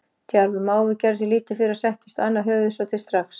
Djarfur máfur gerði sér lítið fyrir og settist á annað höfuðið svo til strax.